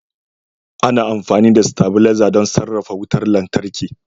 Ana amfani da stabilaiza don sarrafa wutar lantarki.